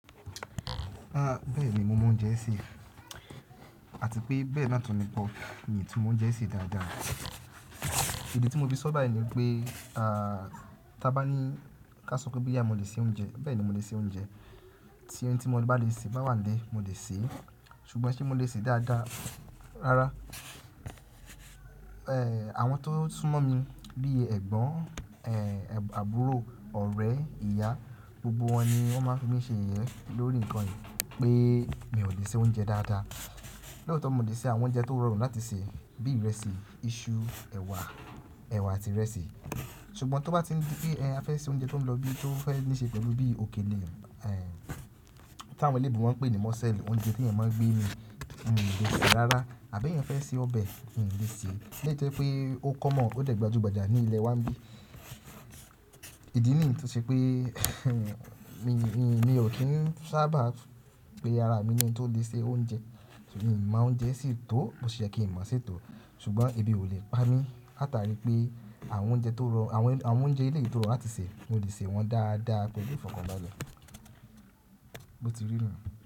Bẹ́ẹ̀ni mo mọ oúnjẹ sè àti pé bẹ́ẹ̀ náà tún ni bọ̀ mi ò tún mo oúnjẹ sè dáadáa. Ìdí tí mo fi sọ̀ báyi ni pé aa a bá ní ká sọ pé bí ìyá mi le se oúnjẹ bẹ́ẹ̀ ni mo le se oúnjẹ, tí ẹni tí mo bá lè ṣe bá wà nílẹ̀ mo lè sè é, ṣùgbọ́n ṣe mo lè sè é dáadáa rárá. Ẹ̀ àwọn tó súnmọ́ mi bí i ẹ̀gbọ́n, ẹ̀ àbúrò, ọ̀rẹ́, ìyá, gbogbo wọn ni wọ́n máa ń fi mí ṣe yẹ̀yẹ́ lórí nǹkan yìí pé mi ò lè se oúnjẹ dáadáa. Lóòótọ́ mo lè se àwọn oúnjẹ tó rọrùn láti sè bí ìrẹsì, iṣu, ẹ̀wà, ẹ̀wà àti ìrẹsì. Ṣùgbọ́n tó bá tí pé ẹ fẹ́ ṣe oúnjẹ tó ń lọ bí tó fẹ́ níṣe pẹ̀lú bí òkèlè tí àwọn elébu ń pè ní mọ́sẹ́ẹ̀lì oúnjẹ tí ẹ̀ n máa gbé ni mi ò lè sè é rárá. Àbí ẹ fẹ́ se ọbẹ̀ mi ò lè sè é. Léte pé ó kọ́ mọ̀ ó dẹ̀gbà ojú gbajà ní ilé wa bí. Ìdí nìyí tó ṣe pé mi ò kín sábà pé ara mi ni ẹni tó lè se oúnjẹ. Èmi má oúnjẹ sè tó mo sì ṣe kí n má ṣe tó ṣùgbọ́n ebi ò lè pa mí láta rí i pé àwọn oúnjẹ tó rọ̀ àwọn oúnjẹ ilé yìí tó rọrùn láti sè mo lè sè wọ́n dáadáa pẹ̀lú ìfọ̀kànbalẹ̀. Bo ti rí nu.